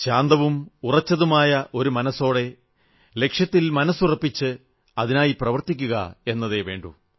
ശാന്തവും ഉറച്ചതുമായ മനസ്സോടെ ലക്ഷ്യത്തിൽ മനസ്സുറപ്പിച്ച് അതിനായി പ്രവർത്തിക്കുക എന്നതേ വേണ്ടൂ